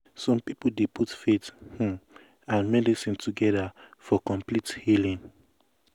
some people dey put faith um and medicine together for um complete healing. um